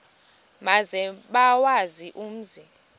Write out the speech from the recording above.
maze bawazi umzi